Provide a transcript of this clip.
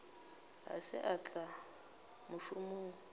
ga se a tla mošomong